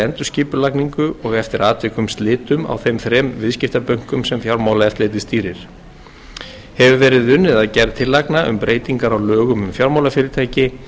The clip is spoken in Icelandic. endurskipulagningu og eftir atvikum slitum á þeim þremur viðskiptabönkum sem fjármálaeftirlitið stýrir hefur verið unnið að gerð tillagna um breytingar á lögum um fjármálafyrirtæki